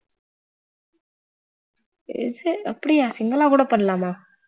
அப்படியா single ஆ கூட பண்ணலாமா